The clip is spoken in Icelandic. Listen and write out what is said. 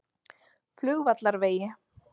Flugvallarvegi